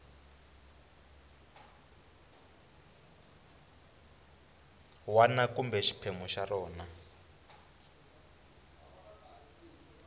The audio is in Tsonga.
wana kumbe xiphemu xa rona